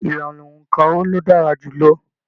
Ìlànà óńka wò ló dára jùlọ?